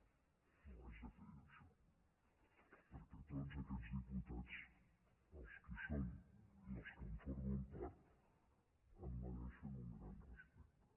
no ho haig de fer jo això perquè tots aquests diputats els que hi són i els que en formen part em mereixen un gran respecte